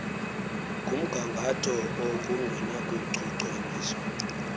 ngumga ngatho ongenakuchukunyiswa